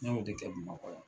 N y'o de kɛ bamakɔ yan.